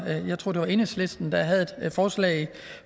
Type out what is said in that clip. jeg tror det var enhedslisten der havde et forslag